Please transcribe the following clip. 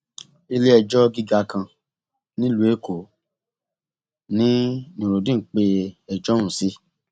iléẹjọ gíga kan nílùú èkó ní nurudeen pe ẹjọ ọhún sí